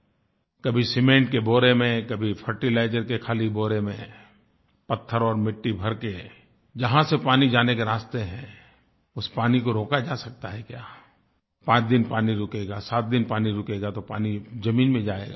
कभी सीमेंट के बोरे में कभी फर्टिलाइजर के खाली बोरे में पत्थर और मिट्टी भरके जहाँ से पानी जाने के रास्ते हैं उस पानी को रोका जा सकता है क्या पाँच दिन पानी रुकेगा सात दिन पानी रुकेगा तो पानी ज़मीन में जाएगा